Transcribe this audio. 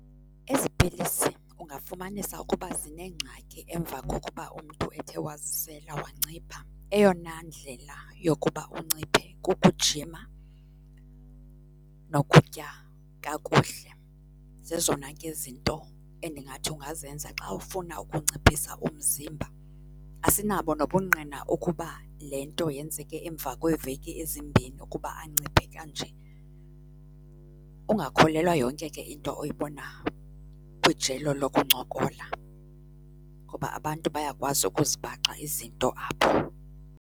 Ezi pilisi ungafumanisa ukuba zinengxaki emva kokuba umntu ethe wazisela wancipha. Eyona ndlela yokuba unciphe kukujima nokutya kakuhle. Zezona ke zinto endingathi ungazenza xa ufuna ukunciphisa umzimba. Asinabo nobungqina ukuba le nto yenzeke emva kweeveki ezimbini ukuba anciphe kanje. Ungakholelwa yonke into oyibona kwijelo lokuncokola, ngoba abantu bayakwazi ukuzibaxa izinto apho.